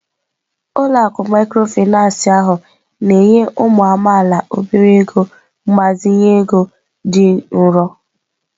Ụlọ akụ mikrofinansị ahụ na-enye ụmụ amaala obere ego mgbazinye ego dị nro.